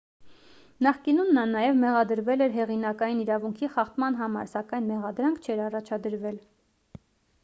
նախկինում նա նաև մեղադրվել էր հեղինակային իրավունքի խախտման համար սակայն մեղադրանք չէր առաջադրվել